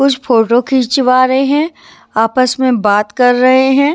कुछ फोटो खींचवा रहे हैं आपस में बात कर रहे है।